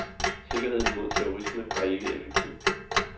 Sikkerheden mod terrorisme er ikke effektiv.